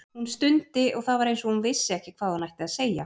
Hún stundi og það var eins og hún vissi ekki hvað hún ætti að segja.